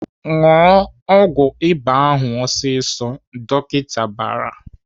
"Ṅụọ ọgwụ ịba ahụ ọsịsọ!" Dọkịta bara.